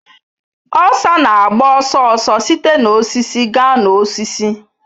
Osa na-agba ọsọ ọsọ site na osisi gaa n'osisi